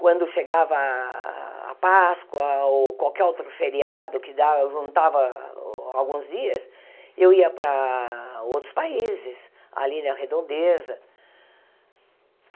Quando chegava a a Páscoa ou qualquer outro feriado que dava, juntava alguns dias, eu ia para outros países, ali na Redondeza.